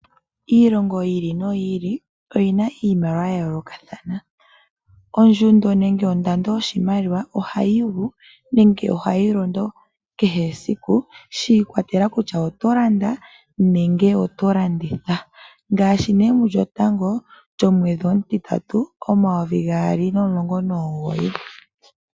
Iilongo yi ili noyi ili oyina iimaliwa yayolokathana. Ondjundo nenge ondando yoshimaliwa ohayigu nenge ohayi londo kehe esiku shi ikwatelela kutya oto landa nenge oto landitha. Ngaashi ne mulyotango lyomwedhi omutitatu omayovi gaali nomulongo nomugoyi.